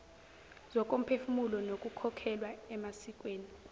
zokomphefumulo nokukholelwa emasikweni